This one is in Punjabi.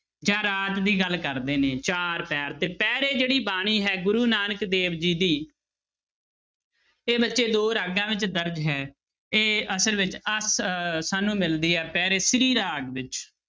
ਜਾਂ ਰਾਤ ਦੀ ਗੱਲ ਕਰਦੇ ਨੇ ਚਾਰ ਪਹਿਰ ਤੇ ਪਹਿਰੇ ਜਿਹੜੀ ਬਾਣੀ ਹੈ ਗੁਰੂ ਨਾਨਕ ਦੇਵ ਜੀ ਦੀ ਇਹ ਬੱਚੇ ਦੋ ਰਾਗਾਂ ਵਿੱਚ ਦਰਜ਼ ਹੈ ਇਹ ਅਸਲ ਵਿੱਚ ਅਸ~ ਸਾਨੂੰ ਮਿਲਦੀ ਹੈ ਪਹਿਰੇ ਸ੍ਰੀ ਰਾਗ ਵਿੱਚ।